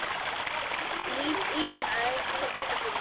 Ína er hjá pabba sínum.